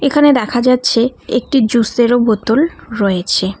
এখানে দেখা যাচ্ছে একটি জুস -এরও বোতল রয়েছে।